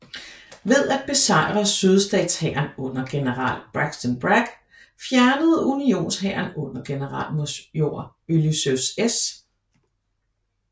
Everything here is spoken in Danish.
Ved at besejre sydstatshæren under general Braxton Bragg fjernede unionshæren under generalmajor Ulysses S